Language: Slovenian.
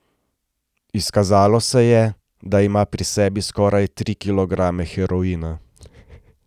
Izkazalo se je, da ima pri sebi skoraj tri kilograme heroina.